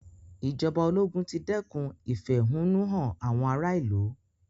Ì̀jọba ológun ti dẹ́kun ìfẹ̀hùnnúhán àwọn ara ìlú.